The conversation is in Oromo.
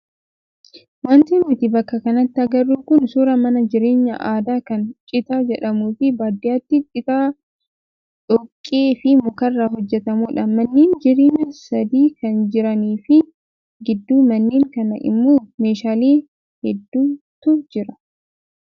Wanti nuti bakka kanatti agarru kun suuraa mana jireenyaa aadaa kan citaa jedhamuu fi baadiyyaatti citaa, dhoqqee fi mukaarraa hojjatamudha. Manneen jireenya sadii kan jiranii fi gidduu manneen kanaa immoo meeshaalee hedduutu jiru.